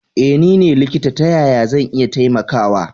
Eh nine likita ta yaya zan iya taimakawa.